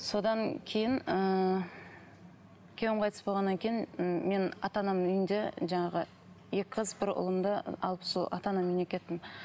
содан кейін ыыы күйеуім қайтыс болғаннан кейін м мен ата анамның үйінде жаңағы екі қыз бір ұлымды алып сол ата анамның үйіне кеттім